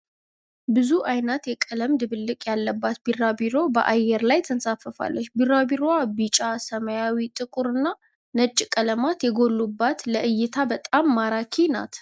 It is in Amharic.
ብዙ አይነት የቀለም ድብልቅ ያለባት ቢራቢሮ በአይነር ላይ ተንሳፋለች። ቢራቢሮዋ ቢጫ፣ ሰማያዊ፣ ጥቁር እና ነጭ ቀለማት የጎሉባት ለእይታ በጣም ማራኪ ናት።